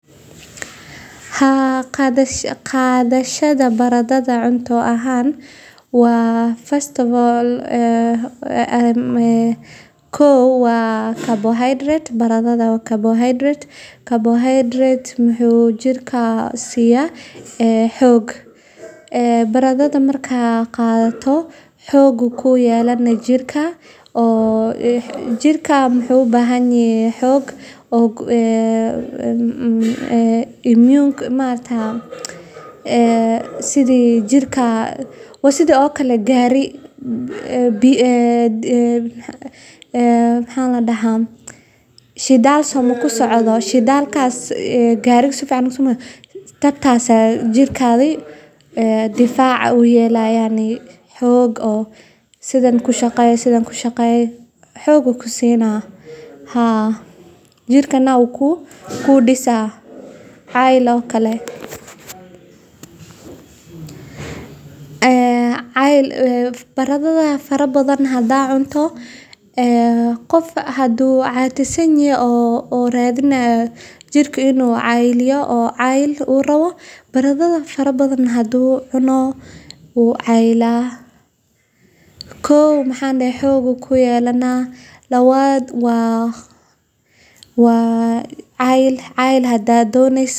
Waxa kale oo ay gacan ka geysataa kobcinta dhaqaalaha bulshooyinka iyadoo laga yareeyo kharashaadka la galiyo daweynta cudurrada deegaanka ka dhasha iyo dayactirka xarumaha danta guud ee wasakhowga saameeyo. Si kastaba ha ahaatee, maaraynta qashinka waxay u baahan tahay wacyigelin bulsho, taageero dowladeed, sharciyo adag, iyo maalgashi si loo helo nidaam hufan oo waara. Marka si guud loo eego, warshadaynta iyo maaraynta qashinka